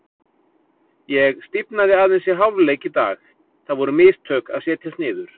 Ég stífnaði aðeins í hálfleik í dag, það voru mistök að setjast niður.